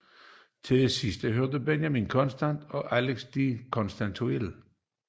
Til de sidste hørte Benjamin Constant og Alexis de Tocqueville